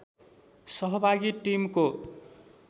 सहभागी टिमको